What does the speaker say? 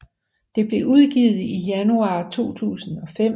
Det blev udgivet i januar 2005